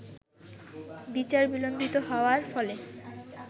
বিচার বিলম্বিত হওয়ার ফলে